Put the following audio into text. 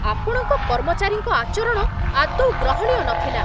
ଆପଣଙ୍କ କର୍ମଚାରୀଙ୍କ ଆଚରଣ ଆଦୌ ଗ୍ରହଣୀୟ ନଥିଲା।